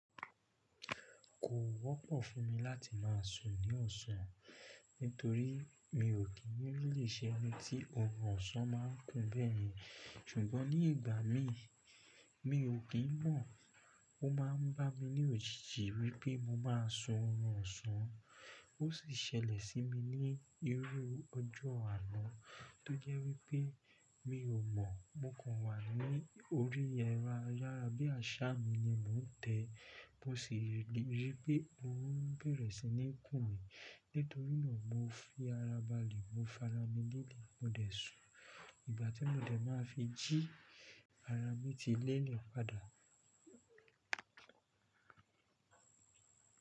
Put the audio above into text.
Kò wọ́pọ̀ fún mi láti máa sùn ní ọ̀sán nitorí mi ò kí n really ṣẹ́ eni tí orun ọ̀sán máa ń kún bẹ́ẹ̀ yẹn. Ṣùgbọ́n ní ìgbà mí, mi ò kí mọ̀, ó máa ń bá mi ní òjìji wípé mo máa sùn orun ọ̀sán. Ó sì ṣẹlẹ̀ sí mi ní irú ọjọ́ àná tó jẹ́ wípé mi ò mọ̀, mo kàn wà ní orí ẹro ayára bí àṣá mi ni mò ń tẹ́, mó sì rí pé orun bẹ̀rẹ̀ sí ní kùn mí. Nítorínà mo fi ara balẹ̀, mo farami lélẹ̀, mo dẹ̀ sùn. Ìgbà tí mo dẹ̀ máa fi jí ara mi tí lélẹ̀ padà.